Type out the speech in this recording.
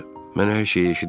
Mən hər şeyi eşidirdim.